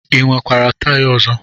I nwekwara taya ọzọ?